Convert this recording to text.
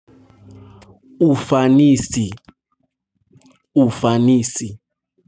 Ufanisi, ufanisi.